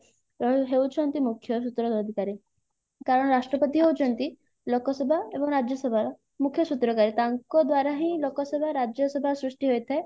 ହେଉଛନ୍ତି ମୁଖ୍ୟ ସୂତ୍ର ଅଧିକାରୀ କାରଣ ରାଷ୍ଟ୍ରପତି ହଉଛନ୍ତି ଲୋକସଭା ଏବଂ ରାଜ୍ୟସଭାର ମୁଖ୍ୟ ସୂତ୍ରକାରୀ ତାଙ୍କ ଦ୍ଵାରା ହିଁ ଲୋକସଭା ରାଜ୍ୟସଭା ସୃଷ୍ଟି ହେଇଥାଏ